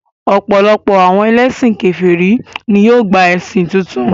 Ọ̀pọ̀lọpọ̀ àwọn ẹlẹ́sìn kèfèrí ní yóò gba ẹ̀sìn tuntun